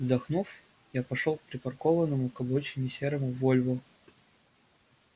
вздохнув я пошёл к припаркованному к обочине серому вольво